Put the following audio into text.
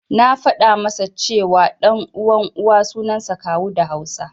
Na faɗa masa ce, ɗan uwan Uwa suansa Kawu da Hausa.